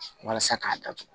Walasa k'a datugu